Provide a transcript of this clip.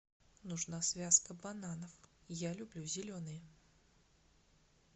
нужна связка бананов я люблю зеленые